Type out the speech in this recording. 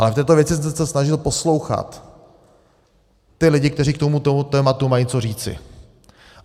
Ale v této věci jsem se snažil poslouchat ty lidi, kteří k tomuto tématu mají co říci.